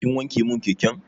Kin wanke mun keken?